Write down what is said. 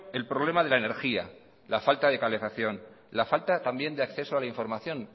el problema de la energía la falta de calefacción la falta también de acceso a la información